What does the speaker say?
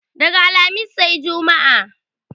Daga alhamis sai jumma